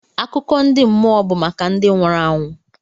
Akụkọ ndị mmụọ bụ maka ndị nwụrụ anwụ.